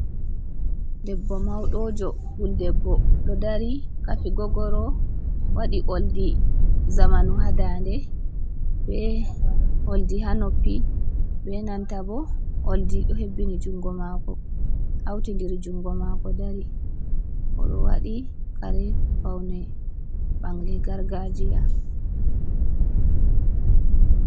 Debbo mauɗojo puldeɓbo ɗo dari kafi gogoro waɗi oldi zamanu ha dande, be oldi ha noppi be nanta bo oldi do hebbini jungo mako hautindiri jungo mako dari oɗo waɗi kare paune bangle gargajiya.